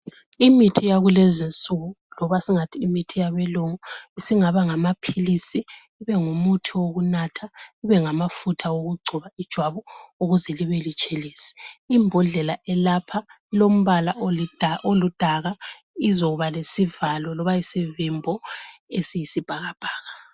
Imithi yakulezinsuku loba singathi Imithi yesilungu, isingaba ngamaphilisi ibe muthi wokunatha , ibengamafutha okugcoba ijwabu ukuze libe butshelezi, imbodlela elapha ilombala oludaka, izokuba lesivalo lova isivimbo esiyisibhakabhaka.